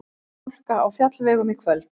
Hálka á fjallvegum í kvöld